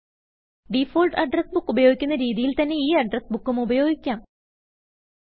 default address books ഉപയോഗിക്കുന്ന രിതിയിൽ തന്നെ ഈ അഡ്രസ് ബുക്ക് ഉം ഉപയോഗിക്കാം